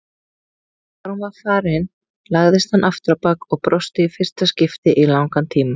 Þegar hún var farin lagðist hann afturábak og brosti í fyrsta skipti í langan tíma.